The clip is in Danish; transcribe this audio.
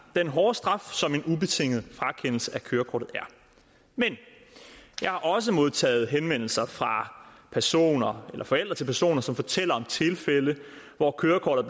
den hårde straf som en ubetinget frakendelse af kørekortet er men jeg har også modtaget henvendelser fra personer eller forældre til personer som fortæller om tilfælde hvor kørekortet